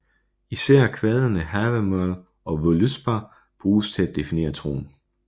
Især kvadene Havamál og Völuspá bruges til at definere troen